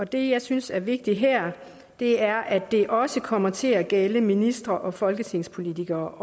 det jeg synes er vigtigt her er at det også kommer til at gælde ministre og folketingspolitikere